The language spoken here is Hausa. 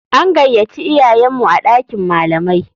An gayaci iyayenmu a ɗakin malamai.